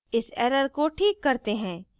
इस error को ठीक करते हैं